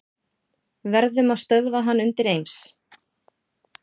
Verðum að stöðva hann undireins.